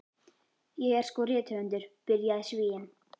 Ég er sko rithöfundur, byrjaði Svíinn.